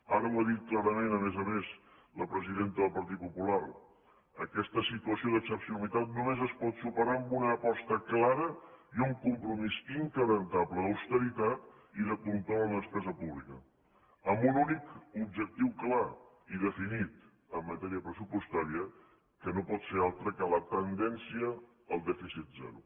ara ho ha dit clarament a més a més la presidenta del partit popular aquesta situació d’excepcionalitat només es pot superar amb una aposta clara i un compromís indestructible d’austeritat i de control en la despesa pública amb un únic objectiu clar i definit en matèria pressupostària que no pot ser altre que la tendència al dèficit zero